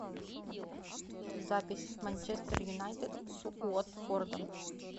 запись манчестер юнайтед с уотфордом